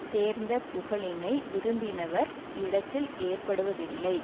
சேர்ந்த புகழினை விரும்பினவர் இடத்தில் ஏற்படுவதில்லை